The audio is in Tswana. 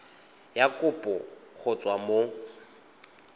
ya kopo go tswa mo